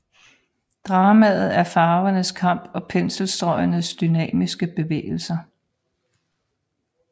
Dramaet er farvernes kamp og penselstrøgenes dynamiske bevægelser